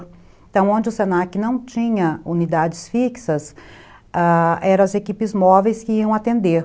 Então, onde o senaque não tinha unidades fixas, eram as equipes móveis que iam atender.